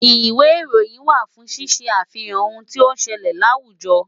Ìwé ìròyìn wà fún ṣíṣe àfihàn ohun tí ó ń ṣẹlẹ̀ láwùjọ.